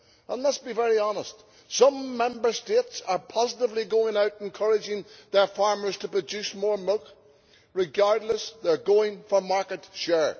And let us be honest, some Member States are positively going out encouraging their farmers to produce more milk regardless they are going for market share.